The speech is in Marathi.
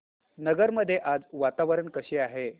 नगर मध्ये आज वातावरण कसे आहे